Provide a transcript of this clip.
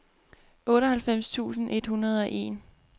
otteoghalvfems tusind et hundrede og en